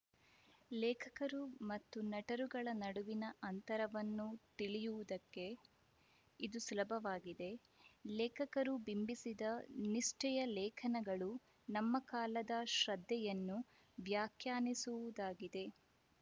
ಲೇಖಕರು ಮತ್ತು ನಟರುಗಳ ನಡುವಿನ ಅಂತರವನ್ನು ತಿಳಿಯುವುದಕ್ಕೆ ಇದು ಸುಲಭವಾಗಿದೆ ಲೇಖಕರು ಬಿಂಬಿಸಿದ ನಿಷ್ಠೆಯ ಲೇಖನಗಳು ನಮ್ಮ ಕಾಲದ ಶ್ರದ್ಧೆಯನ್ನು ವ್ಯಾಖ್ಯಾನಿಸುವುದಾಗಿದೆ